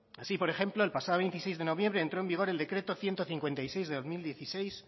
así por ejemplo el pasado veintiséis de noviembre entró en vigor el decreto ciento cincuenta y seis barra dos mil dieciséis